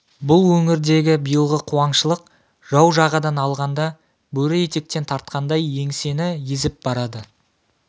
бұл өңірдегі биылғы қуаңшылық жау жағадан алғанда бөрі етектен тартқандай еңсені езіп барады